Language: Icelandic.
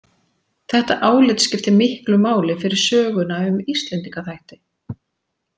Þetta álit skiptir miklu máli fyrir söguna um Íslendingaþætti.